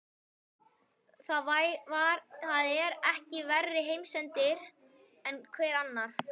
Það er ekki verri heimsendir en hver annar.